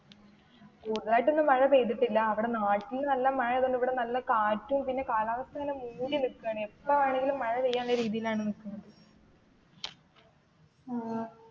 കുടുതലായിട്ട് ഒന്നും മഴ പെയ്തിട്ടില്ല. അവിടെ നാട്ടിൽ നല്ല മഴ ആയതുകൊണ്ട് ഇവിടെ നല്ല കാറ്റും പിന്നെ കാലാവസ്ഥാ നല്ല മൂടി നിൽകുവാണ്. എപ്പോൾ വേണേലും മഴ പെയ്യാവുന്ന രീതിയിലാണ് നിൽക്കുന്നെ.